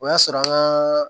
O y'a sɔrɔ an ka